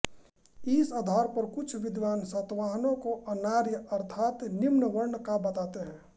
इस आधार पर कुछ विद्वान सातवाहनों को अनार्य अर्थात् निम्नवर्ण का बताते हैं